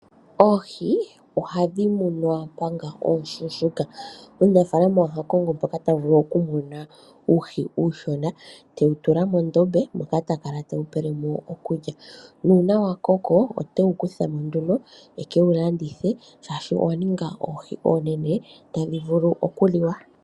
Oohi ohadhi munwa omanga ooshuushuuka. Omunafaalama oha kongo mpoka ta vulu okumona uuhi uushona, tewu tula mondombe moka ta kala tewu pele mo okulya. Uuna wa koko ote wu kutha nduno e ke wu landithe, oshoka owa ninga oohi oonenene tadhi vulu okuliwa.